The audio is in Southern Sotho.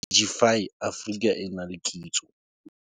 Digify Africa e na le Kitso.